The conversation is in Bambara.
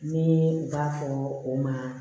Ni u b'a fɔ o ma